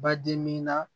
Badi min na